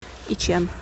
ичэн